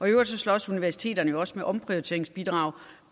øvrigt slås universiteterne også med omprioriteringsbidrag